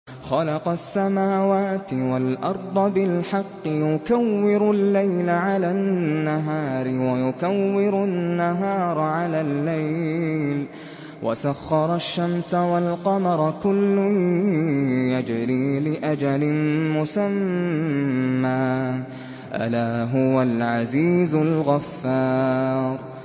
خَلَقَ السَّمَاوَاتِ وَالْأَرْضَ بِالْحَقِّ ۖ يُكَوِّرُ اللَّيْلَ عَلَى النَّهَارِ وَيُكَوِّرُ النَّهَارَ عَلَى اللَّيْلِ ۖ وَسَخَّرَ الشَّمْسَ وَالْقَمَرَ ۖ كُلٌّ يَجْرِي لِأَجَلٍ مُّسَمًّى ۗ أَلَا هُوَ الْعَزِيزُ الْغَفَّارُ